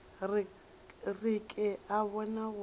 re ke a bona go